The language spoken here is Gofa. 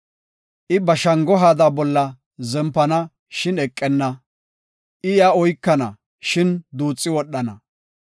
I ba shango haada bolla zempana, shin eqenna; I iya oykana, shin duuxi wodhana.